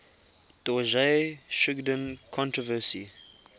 dorje shugden controversy